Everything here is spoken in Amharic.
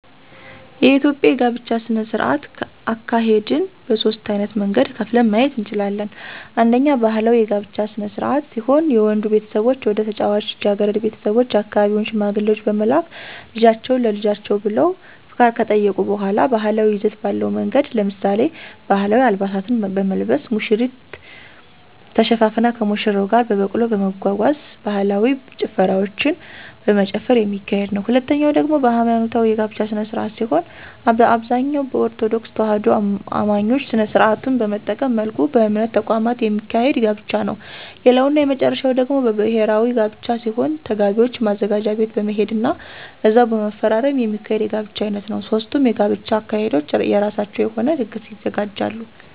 የኢትዮጵያ የጋብቻ ስነ-ስርዓት አካሄድን በሦስት ዓይነት መንገድ ከፍለን ማየት እንችላለን። አንደኛ ባህላዊ የጋብቻ ስነ-ስርዓት ሲሆን የወንዱ ቤተሰቦች ወደ ታጨችዋ ልጃገረድ ቤተሰቦች የአካባቢውን ሽማግሌዎች በመላክ ልጃችሁን ለልጃችን ብለው ፈቃድ ከጠየቁ በሗላ ባህላዊ ይዘት ባለው መንገድ ለምሳሌ፦ ባህላዊ አልባሳትን በመልበስ፣ ሙሽሪት ተሸፋፍና ከሙሽራው ጋር በበቅሎ በመጓጓዝ፣ ባህላዊ ጭፈራዎችን በመጨፈር የሚካሄድ ነዉ። ሁለተኛው ደግሞ ሀይማኖታዊ የጋብቻ ስነ-ስርዓት ሲሆን በአብዛኛው በኦርቶዶክስ ተዋህዶ አማኞች ስነ-ስርዓቱን በጠበቀ መልኩ በእምነት ተቋማት የሚካሄድ ጋብቻ ነዉ። ሌላው እና የመጨረሻው ደግሞ ብሔራዊ ጋብቻ ሲሆን ተጋቢዎች ማዘጋጃ ቤት በመሄድ ና እዛው በመፈራረም የሚካሄድ የጋብቻ ዓይነት ነዉ። ሦስቱም የጋብቻ አካሄዶች የራሳቸው የሆነ ድግስ ያዘጋጃሉ።